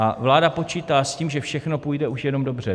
A vláda počítá s tím, že všechno půjde už jenom dobře.